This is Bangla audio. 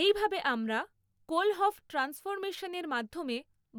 এইভাবে আমরা কোল হপফ ট্রান্সফরমেশনের মাধ্যমে